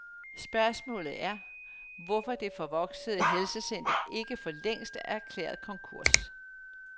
Spørgsmålet er, hvorfor det forvoksede helsecenter ikke forlængst er erklæret konkurs?